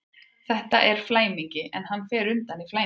Þetta er flæmingi, en fer hann undan í flæmingi?